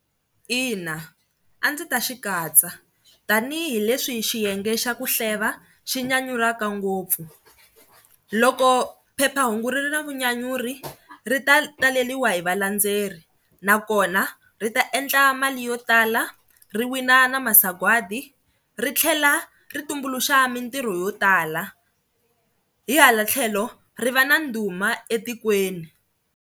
Ina, a ndzi ta xi katsa tanihileswi hi xiyenge xa ku hleva xi nyanyulaka ngopfu loko phephahungu ri na vunyanyuri ri ta taleriwa hi valendzeleri nakona ri ta endla mali yo tala ri wina na masagwadi ri tlhela ri tumbuluxa mintirho yo tala, hi hala tlhelo ri va na ndhuma etikweni.